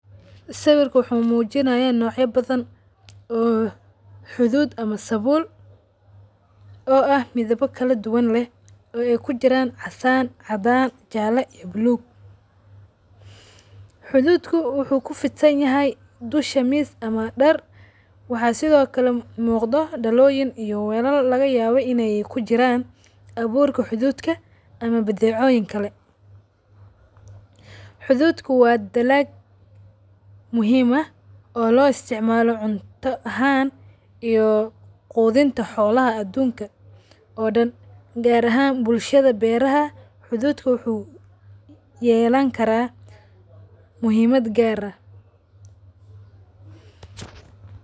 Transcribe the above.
Sawirku wuxu mujinaya noocya badhan oo xudhud ama sabul oo ah midhaba kaladuwan leh oo ay kujuran casan cadaan jaala iyo blue xudhudku wuxu kufidsanyahay dusha miis ama dar. Waxa sidhokale muqda daloyiin iyo welal lagayaba inay kujiran baburka xudhudka ama badecoyin kale. Xudhudku wa dalag muhim ah oo lo isticmala cunta ahaan iyo qudhinta xolaha adunka oo dan gaar ahaan bulshadha beeraha xudhudku wuxu yeelan kara muhimad gaar ah.